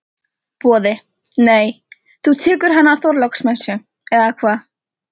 Boði: Nei, þú tekur hana á Þorláksmessu, eða hvað?